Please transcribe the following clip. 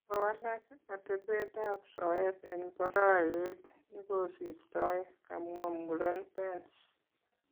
Kokowalaak atebeetab soyeet en boroyet nikosirtoo , kamwaa muren Pence